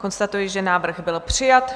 Konstatuji, že návrh byl přijat.